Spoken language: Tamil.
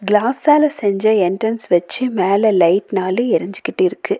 கிளாஸ்ஸால செஞ்ச என்ட்ரன்ஸ் வெச்சு மேல லைட் நாலு எரிஞ்சுகிட்டிருக்கு.